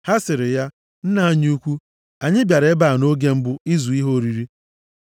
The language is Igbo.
Ha sịrị ya, “Nna anyị ukwu, anyị bịara ebe a nʼoge mbụ ịzụ ihe oriri.